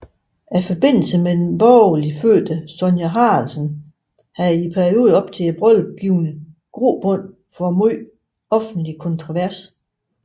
Forbindelsen med den borgerligt fødte Sonja Haraldsen havde i perioden op til brylluppet givet grobund for megen offentlig kontrovers